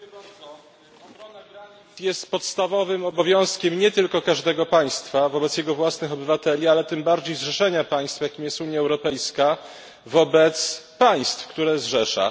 To jest podstawowym obowiązkiem każdego państwa wobec jego własnych obywateli, a tym bardziej zrzeszenia państw, jakim jest Unia Europejska, wobec państw, które zrzesza.